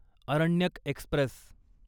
Aranyak Express